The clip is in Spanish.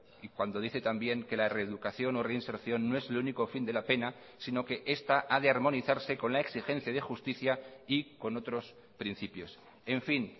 y cuando dice también que la reeducación o reinserción no es el único fin de la pena sino que esta ha de armonizarse con la exigencia de justicia y con otros principios en fin